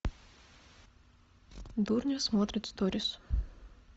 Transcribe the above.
дурнев смотрит сторис